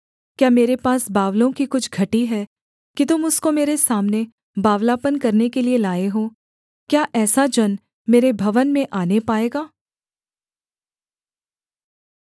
क्या मेरे पास बावलों की कुछ घटी है कि तुम उसको मेरे सामने बावलापन करने के लिये लाए हो क्या ऐसा जन मेरे भवन में आने पाएगा